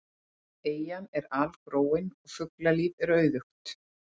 Eyjan er algróin og fuglalíf er auðugt.